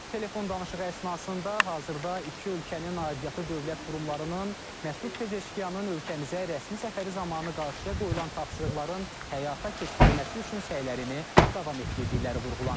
Telefon danışığı əsnasında hazırda iki ölkənin aidiyyatı dövlət qurumlarının, Məsud Pezeşkiyanın ölkəmizə rəsmi səfəri zamanı qarşıya qoyulan tapşırıqların həyata keçirilməsi üçün səylərini davam etdirdiyi vurğulanıb.